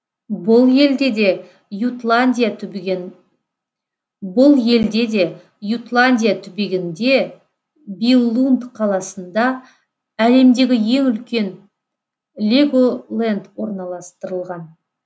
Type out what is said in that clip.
бұл елде де ютландия түбегінде биллунд қаласында әлемдегі ең үлкен леголенд орналастырылған